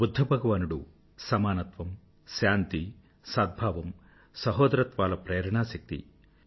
బుధ్ధభగవానుడు సమానత్వం శాంతి సద్భావం సహోదరత్వాల ప్రేరణా శక్తి